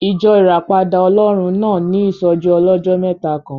Ìjọ Ìràpadà Ọlọ́run náà ní ìsọ́jí ọlọ́jọ́ mẹ́ta kan